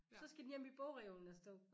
Så skal den hjem i bogreolen og stå